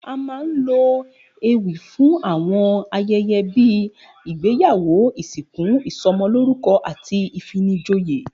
A máa ń lo ewì fún àwo̩n aye̩ye̩ bí ìgbéyàwó, ìsìnkú, ìso̩mo̩lórúko̩ àti ìfinijoyè